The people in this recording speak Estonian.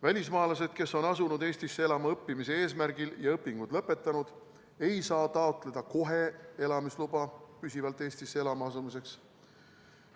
Välismaalased, kes on asunud Eestisse elama õppimise eesmärgil ja on õpingud lõpetanud, ei saa kohe taotleda elamisluba püsivalt Eestisse elama asumiseks.